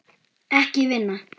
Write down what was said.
Ekki vinna.